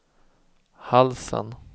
halsen